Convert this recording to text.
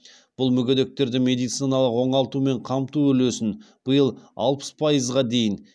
бұл мүгедектерді медициналық оңалтумен қамту үлесін биыл алпыс пайызға дейін